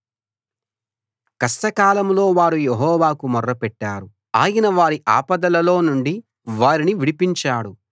కష్టకాలంలో వారు యెహోవాకు మొర్రపెట్టారు ఆయన వారి ఆపదలలో నుండి వారిని విడిపించాడు